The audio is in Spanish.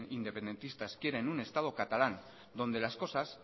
independentistas quieren un estado catalán donde las cosas